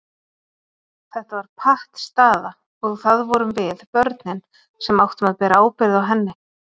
Þetta var pattstaða og það vorum við, börnin, sem áttum að bera ábyrgð á henni.